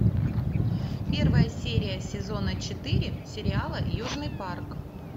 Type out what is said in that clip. первая серия сезона четыре сериала южный парк